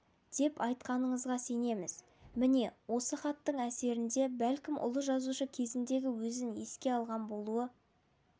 деп айтатыныңызға сенеміз міне осы хаттың әсерінде бәлкім ұлы жазушы кезіндегі өзін еске алған болуы